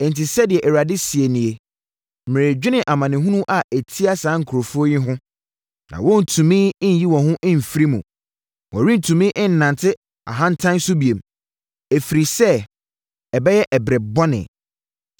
Enti, sɛdeɛ Awurade seɛ nie, “Meredwene amanehunu a ɛtia saa nkurɔfoɔ yi ho na worentumi nnyi wo ho mfiri mu. Worentumi nnante ahantan so bio, ɛfiri sɛ ɛbɛyɛ ɛberɛ bɔne.